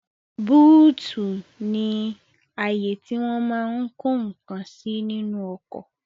Búùtì ní àyè tí wọ́n máa n kó ǹkan sí nínú ọkọ̀